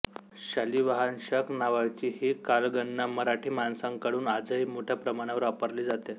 शालिवाहन शक नावाची ही कालगणना मराठी माणसांकडून आजही मोठ्या प्रमाणावर वापरली जाते